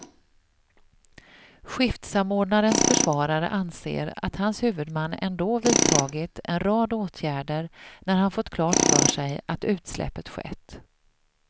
Skiftsamordnarens försvarare anser att hans huvudman ändå vidtagit en rad åtgärder när han fått klart för sig att utsläppet skett.